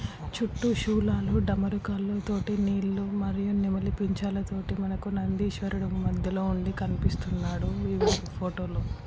చుట్టూ శూలాలు డమరుకాలు తోటి నీళ్ళు మరియు నెమలి పించాలతోటి మనకి నందీశ్వరుడు మధ్యలో ఉండి కనిపిస్తునాడు ఈ ఫోటో లో.